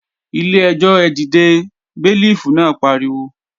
Ilé-ẹjọ́ ẹ dìde, béélífù náà pariwo!